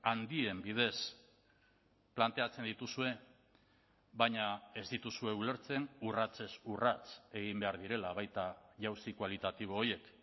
handien bidez planteatzen dituzue baina ez dituzue ulertzen urratsez urrats egin behar direla baita jauzi kualitatibo horiek